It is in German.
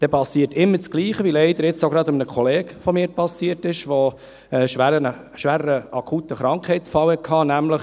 Dann geschieht immer dasselbe, wie es leider jetzt auch gerade einem Kollegen von mir passiert ist, der einen schweren akuten Krankheitsfall hatte.